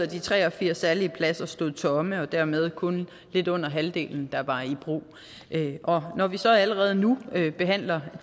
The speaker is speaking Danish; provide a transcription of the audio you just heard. de tre og firs særlige pladser stod tomme og dermed var det kun lidt under halvdelen der var i brug og når vi så allerede nu behandler